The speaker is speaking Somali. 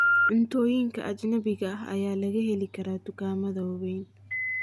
Cuntooyinka ajnabiga ah ayaa laga heli karaa dukaamada waaweyn.